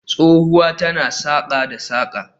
Tsohuwa tana saƙa da saƙa